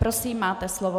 Prosím, máte slovo.